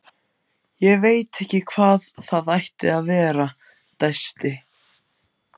Ég veit ekki hvað það ætti að vera- dæsti